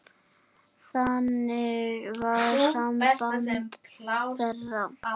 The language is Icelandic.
Þannig var samband þeirra.